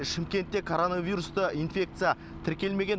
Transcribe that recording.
шымкентте коронавирусты инфекция тіркелмеген